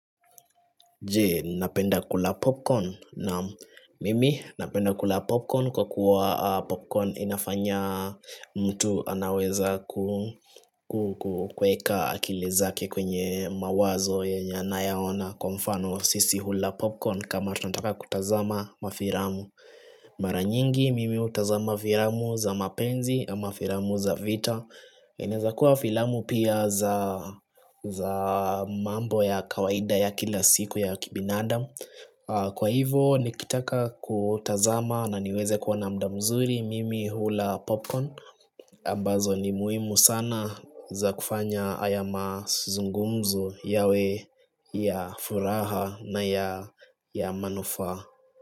Jee, napenda kula popcorn na mimi napenda kula popcorn kwa kuwa popcorn inafanya mtu anaweza kukweka akili zake kwenye mawazo yenye anayaona kwa mfano sisi hula popcorn kama tunataka kutazama mafiramu Maranyingi mimi utazama filamu za mapenzi ama filamu za vita Inezakuwa filamu pia za mambo ya kawaida ya kila siku ya kibinadam Kwa hivo nikitaka kutazama na niweze kuwana mda mzuri mimi hula popcorn ambazo ni muhimu sana za kufanya aya mazungumzo yawe ya furaha na ya manufa.